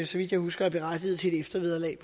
så vidt jeg husker er berettiget til et eftervederlag